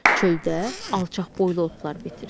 Çöldə alçaq boylu otlar bitir.